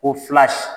Ko fila si